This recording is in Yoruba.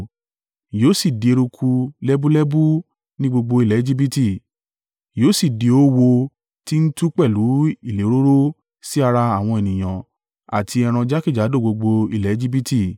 Yóò sì di eruku lẹ́búlẹ́bú ni gbogbo ilẹ̀ Ejibiti, yóò sì di oówo ti ń tú pẹ̀lú ìléròrò sí ara àwọn ènìyàn àti ẹran jákèjádò gbogbo ilẹ̀ Ejibiti.”